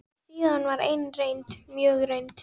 Og síðan var ein reynd, mjög reynd.